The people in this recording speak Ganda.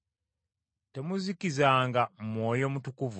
Temuzikizanga Mwoyo Mutukuvu,